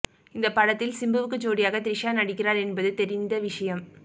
இந்த படத்தில் சிம்புவுக்கு ஜோடியாக திரிஷா நடிக்கிறார் என்பது தெரிந்த விஷயம்